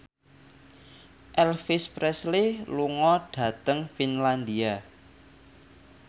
Elvis Presley lunga dhateng Finlandia